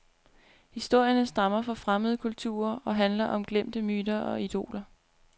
Historierne stammer fra fremmede kulturer og handler om glemte myter og idoler.